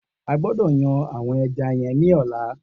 O gbọ́dọ̀ yan àwọn eja yen ní ọ̀la